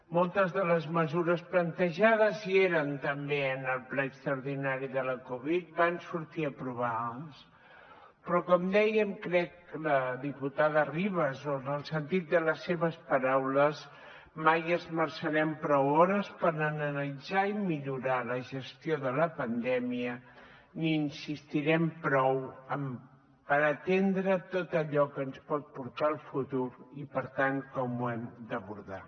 moltes de les mesures plantejades que hi eren també en el ple extraordinari de la covid van sortir aprovades però com deia crec la diputada de ribas o en el sentit de les seves paraules mai esmerçarem prou hores per analitzar i millorar la gestió de la pandèmia ni insistirem prou per atendre tot allò que ens pot portar el futur i per tant com ho hem d’abordar